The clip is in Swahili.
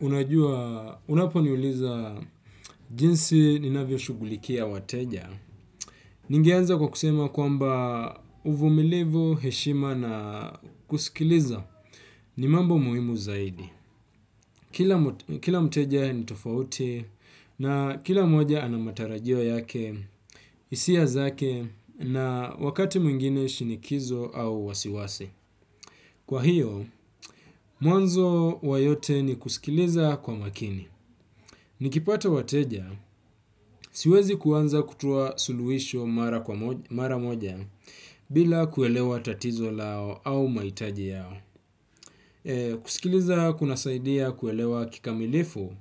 Unajua, unaponiuliza jinsi ninavyo shughulikia wateja. Ningeanza kwa kusema kwamba uvumilivu, heshima na kusikiliza ni mambo muhimu zaidi kila. Kila mteja ni tofauti na kila moja ana matarajio yake, hisia zake na wakati mwingine shinikizo au wasiwasi. Kwa hiyo mwanzo wa yote ni kusikiliza ka makini. Nikipata wateja, siwezi kuanza kutoa suluisho mara moja bila kuelewa tatizo lao au mahitaji yao. Kusikiliza kunasaidia kuelewa kikamilifu,